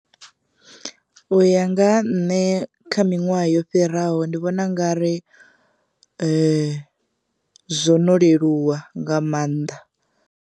U ya nga ha nṋe kha miṅwaha yo fhiraho ndi vhona ungari zwo no leluwa nga maanḓa.